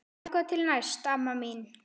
Þangað til næst amma mín.